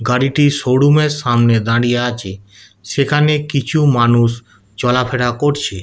গাড়িটি শোরুম এর সামনে দাঁড়িয়ে আছে। সেখানে কিছু মানুষ চলাফেরা করছে।